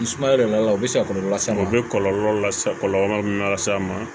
Ni sumaya de nana u bɛ se ka kɔlɔlɔ las'a ma u bɛ kɔlɔlɔ lase kɔlɔlɔ min lase a ma